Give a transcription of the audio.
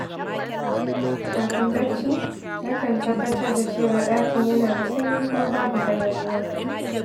Kafin barci, nakan tabbatar da cewa ɗakin yana da sanyi kuma babu hayaniya.